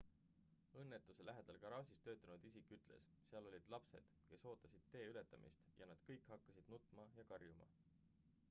õnnetuse lähedal garaažis töötanud isik ütles seal olid lapsed kes ootasid tee ületamist ja nad kõik hakkasid nutma ja karjuma